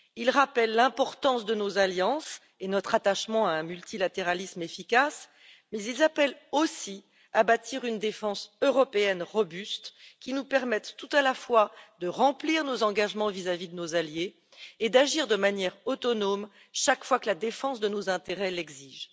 Ils rappellent l'importance de nos alliances et notre attachement à un multilatéralisme efficace mais ils appellent aussi à bâtir une défense européenne robuste qui nous permette, tout à la fois, de remplir nos engagements vis à vis de nos alliés et d'agir de manière autonome chaque fois que la défense de nos intérêts l'exige.